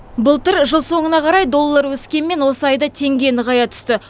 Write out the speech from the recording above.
былтыр жыл соңына қарай доллар өскенмен осы айда теңге нығая түсті